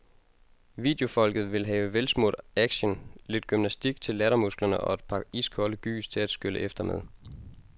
Videofolket vil have velsmurt action, lidt gymnastik til lattermusklerne og et par iskolde gys til at skylle efter med.